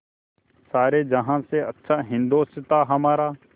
सारे जहाँ से अच्छा हिन्दोसिताँ हमारा